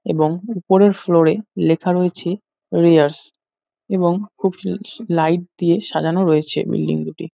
এবং উপরের ফ্লোরে লেখা রয়েছে রেয়ারস এবং খুব শি শি লাইট দিয়ে সাজানো রয়েছে বিল্ডিং দুটি।